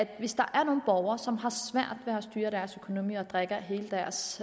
hvis der er nogle borgere som har svært ved at styre deres økonomi og drikker hele deres